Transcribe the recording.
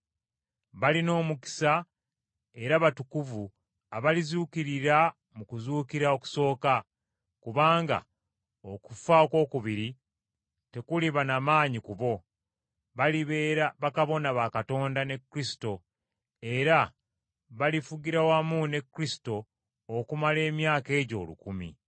Balina omukisa era batukuvu abalizuukirira mu kuzuukira okusooka. Kubanga okufa okwokubiri tekuliba na maanyi ku bo, balibeera bakabona ba Katonda ne Kristo era balifugira wamu ne Kristo okumala emyaka egyo olukumi.